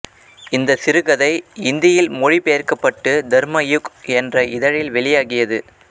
இந்தச் சிறுகதை இந்தியில் மொழி பெயர்க்கப்பட்டு தர்மயுக் என்ற இதழில் வெளியாகியது